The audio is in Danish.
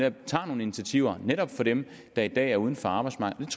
at vi tager nogle initiativer netop for dem der i dag er uden for arbejdsmarkedet